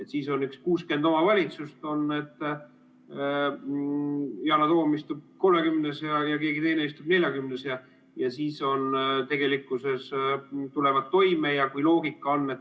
Kui meil on üle 60 omavalitsuse, siis Yana Toom istub kolmekümnes ja keegi teine istub neljakümnes ja tulevad toime.